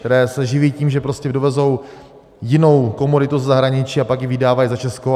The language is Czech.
Které se živí tím, že prostě dovezou jinou komoditu ze zahraničí a pak ji vydávají za českou.